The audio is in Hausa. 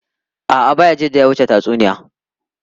A’a, Bayajidda ya wuce tatsuniya.